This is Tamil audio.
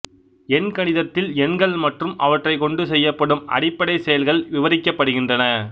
எண்கணிதத்தில் எண்கள் மற்றும் அவற்றைக் கொண்டு செய்யப்படும் அடிப்படைச் செயல்கள் விவரிக்கப்படுகின்றன